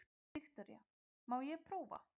Viktoría: Má ég prófa?